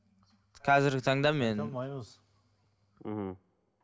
қазіргі таңда мен мхм